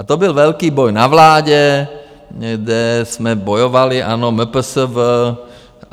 A to byl velký boj na vládě, kde jsme bojovali, ano, MPSV.